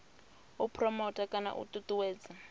u phuromotha kana u ṱuṱuwedza